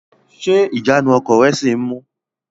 Ṣé ìjánu ọkọ̀ rẹ sì ń mú u?